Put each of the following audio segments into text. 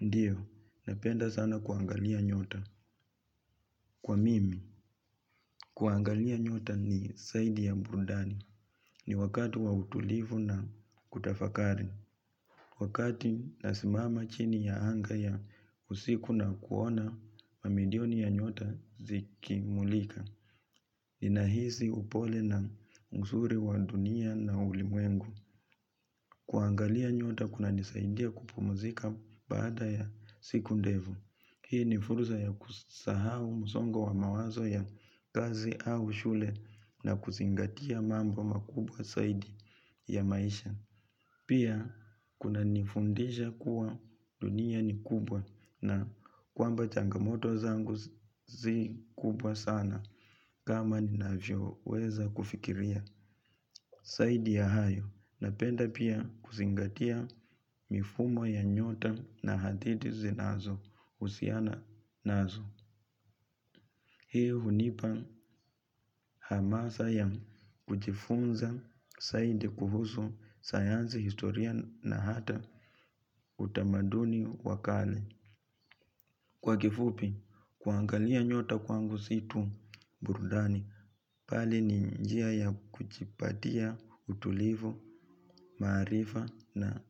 Ndiyo, napenda sana kuangalia nyota. Kwa mimi, kuangalia nyota ni zaidi ya burudani. Ni wakati wa utulivu na kutafakari. Wakati nasimama chini ya anga ya usiku na kuona, mamilioni ya nyota zikimulika. Inahisi upole na uzuri wa dunia na ulimwengu. Kuangalia nyota kunanisaidia kupumzika baada ya siku ndefu. Hii ni fursa ya kusahau msongo wa mawazo ya kazi au shule na kuzingatia mambo makubwa zaidi ya maisha. Pia kunanifundisha kuwa dunia ni kubwa na kwamba changamoto zangu si kubwa sana kama ninavyoweza kufikiria. Zaidi ya hayo, napenda pia kuzingatia mifumo ya nyota na hadithi zinazohusiana nazo. Hii hunipa hamasa ya kujifunza zaidi kuhusu sayansi, historia, na hata utamaduni wa kale. Kwa kifupi, kuangalia nyota kwangu si tu burudani, bali ni njia ya kujipatia utulivu, maarifa, na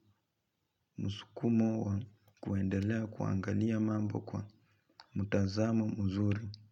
msukumo wa kuendelea kuangalia mambo kwa mtazamo mzuri.